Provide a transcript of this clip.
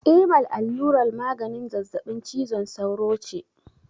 Imal allurar maganin zazzaɓin cizon sauro ce.